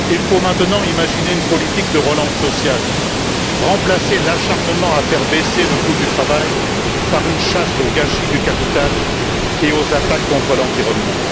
Il faut maintenant imaginer une politique de relance sociale, remplacer l'acharnement à faire baisser le coût du travail par une chasse au gâchis du capital et aux attaques contre l'environnement.